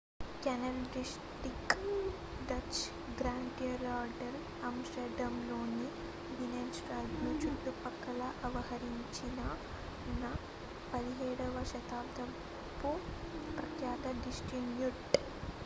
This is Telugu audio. canal district dutch: grachtengordel amsterdamలోని binenstadను చుట్టుపక్కల ఆవరించియున్న 17వ శతాబ్దపు ప్రఖ్యాత డిస్ట్రిక్ట్